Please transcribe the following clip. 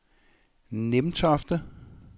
Nimtofte